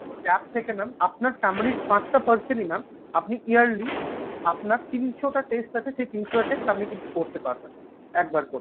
gap থাকে না আপনার family র পাঁচটা parson ই mam আপনি yearly আপনার তিনশোটা test আছে সেই তিনশোটা test আপনি কিন্তু করতে পারবেনএকবার করে